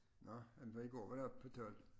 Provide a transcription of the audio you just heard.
Nå jamen var i går var det oppe på 12